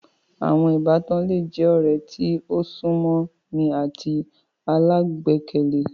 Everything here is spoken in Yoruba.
Àwọn Ìbátan le je ọ̀rẹ́ tí o sún mọ́ ni àti alágbọkàlé